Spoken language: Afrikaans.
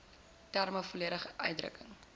terme volledig uitdrukking